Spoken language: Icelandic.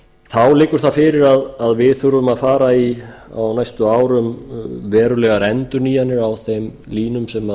þá liggur það fyrir að við þurfum að fara í á næstu árum verulegar endurnýjanir á þeim línum sem